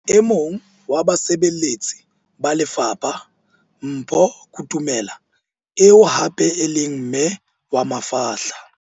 E mong wa basebeletsi ba lefapha Mpho Kutumela eo hape e leng mme wa mafahla.